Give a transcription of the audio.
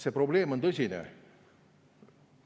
See probleem on tõsine.